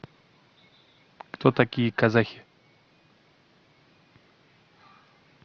кто такие казахи